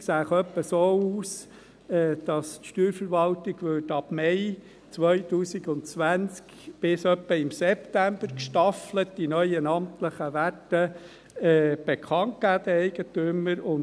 Die Umsetzung sähe etwa so aus, dass die Steuerverwaltung ab Mai 2020 bis etwa im September den Eigentümern gestaffelt die neuen amtlichen Werte bekannt geben würde.